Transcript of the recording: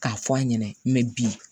K'a fɔ a ɲɛna bi